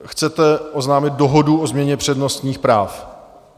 Chcete oznámit dohodu o změně přednostních práv?